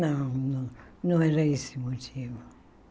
Não não, não era esse o motivo.